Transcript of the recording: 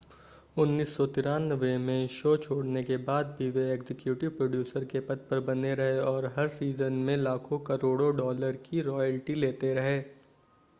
1993 में शो छोड़ने के बाद भी वे एग्जीक्यूटिव प्रोड्यूसर के पद पर बने रहे और हर सीज़न में लाखों-करोड़ों डॉलर की रॉयल्टी लेते रहे